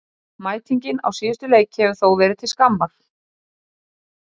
Mætingin á síðustu leiki hefur þó verið til skammar.